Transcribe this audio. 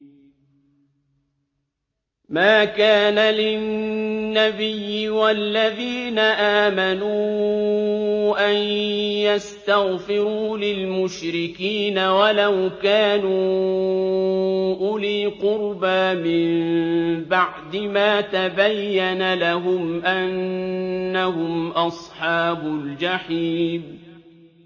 مَا كَانَ لِلنَّبِيِّ وَالَّذِينَ آمَنُوا أَن يَسْتَغْفِرُوا لِلْمُشْرِكِينَ وَلَوْ كَانُوا أُولِي قُرْبَىٰ مِن بَعْدِ مَا تَبَيَّنَ لَهُمْ أَنَّهُمْ أَصْحَابُ الْجَحِيمِ